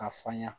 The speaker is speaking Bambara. A faŋa